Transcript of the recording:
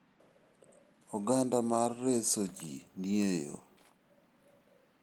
Oganda mar reso ji ni e yo.